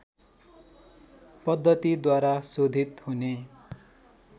पद्धतिद्वारा शोधित हुने